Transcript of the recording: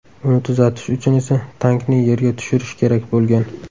Uni tuzatish uchun esa tankni yerga tushirish kerak bo‘lgan.